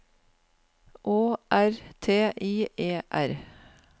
Å R T I E R